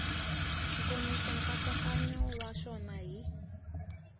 nkomiso nkatsakanyo wa xona hi